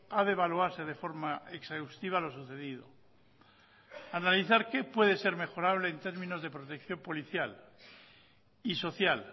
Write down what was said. ha de evaluarse de forma exhaustiva lo sucedido analizar qué puede ser mejorable en términos de protección policial y social